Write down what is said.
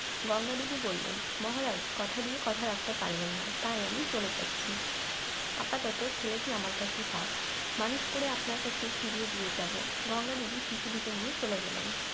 গঙ্গা দেবী বললেন মহারাজ কথা দিয়ে কথা রাখতে পারলেন না তাই আমি চলে যাচ্ছি আপাতত ছেলেটি আমার কাছেই থাক মানুষ করেই আপনার কাছে, ফিরিয়ে দিয়ে যাব গঙ্গা দেবীর শিশুটিকে নিয়ে চলে গেলেন